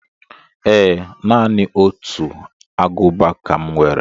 Ee. Naanị otu Agụba ka m nwere